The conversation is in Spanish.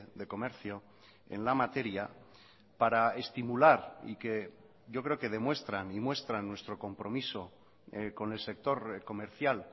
de comercio en la materia para estimular y que yo creo que demuestran y muestran nuestro compromiso con el sector comercial